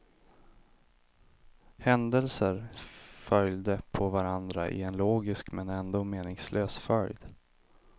Händelser följde på varandra i en logisk men ändå meningslös följd.